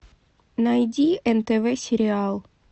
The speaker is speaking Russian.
найди нтв сериал